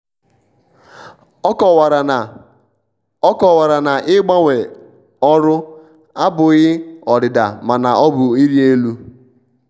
ọ kowara na ọ kowara na ịgbanwe ọrụ abụghị ọdịdamana ọ bụ ịrị elu.